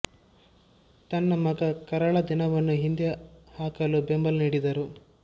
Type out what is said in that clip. ತನ್ನ ಮಗ ಕರಾಳ ದಿನವನ್ನು ಹಿಂದೆ ಹಾಕಲು ಬೆಂಬಲ ನೀಡಿದರು